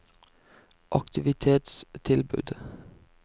aktivitetstilbud